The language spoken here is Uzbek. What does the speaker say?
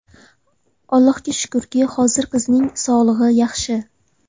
Allohga shukurki, hozir qizining sog‘ligi yaxshi.